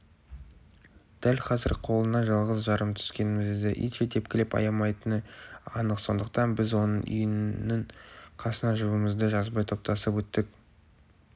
дәл қазір қолына жалғыз-жарым түскенімізді итше тепкілеп аямайтыны анық сондықтан біз оның үйінің қасынан жұбымызды жазбай топтасып өттік